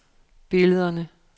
billederne